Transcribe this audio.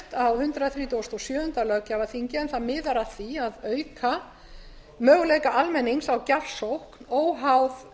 á hundrað þrítugasta og sjöunda löggjafarþingi en það miðar að því að auka möguleika almennings á gjafsókn óháð